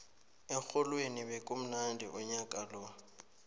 erholweni bekumnandi unyaka lo